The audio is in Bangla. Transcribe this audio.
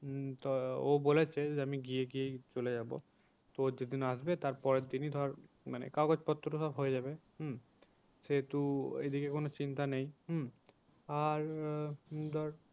উম ও বলছে যে আমি গিয়ে গিয়েই চলে যাবো। তো ও যেদিন আসবে তার পরের দিনই ধর মানে কাগজ পত্র ধর হয়ে যাবে হম সেহেতু এদিকে কোনো চিন্তা নেই হম আর আহ ধর